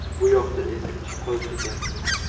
Bu yoqda esa ish qolib ketyapti”.